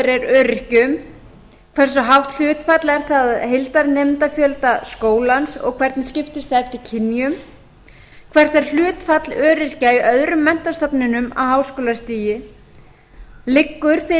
er öryrkjum annars hversu hátt hlutfall er það af heildarnemendafjölda skólans og hvernig skiptist það eftir kynjum þriðja hvert er hlutfall öryrkja í öðrum menntastofnunum á háskólastigi fjórða liggur fyrir